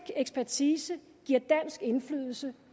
ekspertise giver dansk indflydelse